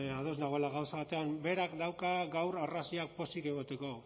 ados nagoela gauza batean berak dauka gaur arrazoiak pozik egoteko